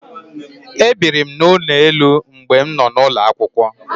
E biri m n'ụlọ elu mgbe m nọ n'ulo akwụkwọ.